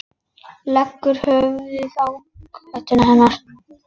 Leggur höfuðið í kjöltu hennar.